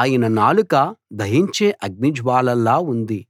ఆయన నాలుక దహించే అగ్ని జ్వాలలా ఉంది